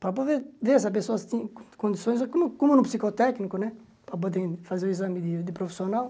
para poder ver essa pessoa se tem condições, como como no psicotécnico né, para poder fazer o exame de de profissional.